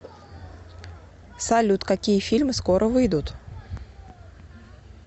салют какие фильмы скоро выидут